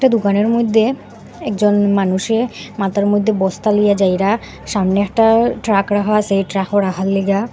দুকানের মইদ্যে একজন মানুষে মাথার মধ্যে বস্তা লইয়া যাইরা সামনে একটা ট্রাক রাখা আসে এই ট্রাকো রাখার লিগা--